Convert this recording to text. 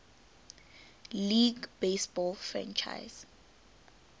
league baseball franchise